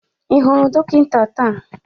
Ị hụrụ dọkịta taa?